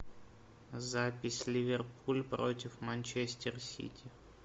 запись ливерпуль против манчестер сити